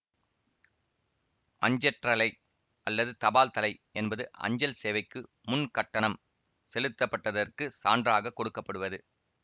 அஞ்சற்றலை அல்லது தபால்தலை என்பது அஞ்சல் சேவைக்கு முன் கட்டணம் செலுத்தப்பட்டதற்குச் சான்றாக கொடுக்க படுவது